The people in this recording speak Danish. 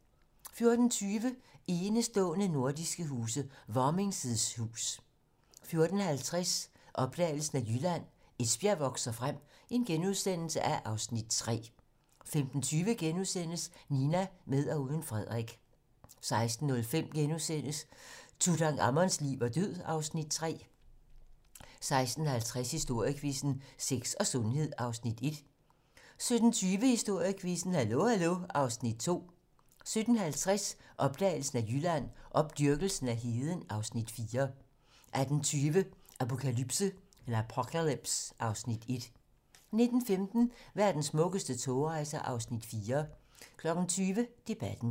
14:20: Enestående nordiske huse - Varming's hus 14:50: Opdagelsen af Jylland: Esbjerg vokser frem (Afs. 3)* 15:20: Nina - med og uden Frederik * 16:05: Tutankhamons liv og død (Afs. 3)* 16:50: Historiequizzen: Sex og sundhed (Afs. 1) 17:20: Historiequizzen: Hallo hallo (Afs. 2) 17:50: Opdagelsen af Jylland: Opdyrkelsen af heden (Afs. 4) 18:20: Apocalypse (Afs. 1) 19:15: Verdens smukkeste togrejser (Afs. 4) 20:00: Debatten